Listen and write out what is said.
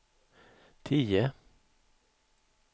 tio